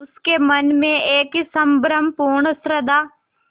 उसके मन में एक संभ्रमपूर्ण श्रद्धा